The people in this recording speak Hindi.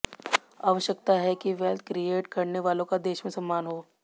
आवश्यकता है कि वेल्थ क्रिएट करने वालों का देश में सम्मान हो